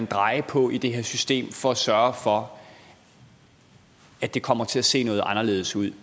dreje på i det her system for at sørge for at det kommer til at se noget anderledes ud